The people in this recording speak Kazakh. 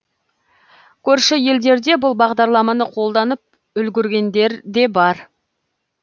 көрші елдерде бұл бағдарламаны қолданып үлгергендер де бар